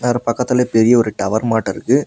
இந்தாரா பக்கத்துல பெரிய ஒரு டவர் மாட்டா இருக்கு.